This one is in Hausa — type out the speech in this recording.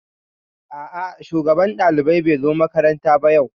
A'a shugaban ɗaliban bai zo makaranta ba yau